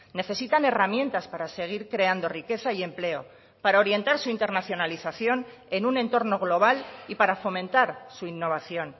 necesitan herramientas para seguir creando riqueza y empleo para orientar su internacionalización en un entorno global y para fomentar su innovación